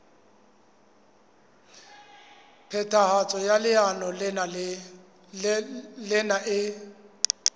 phethahatso ya leano lena e